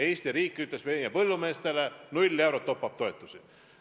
Eesti riik ütles meie põllumeestele: null eurot top-up-toetusi.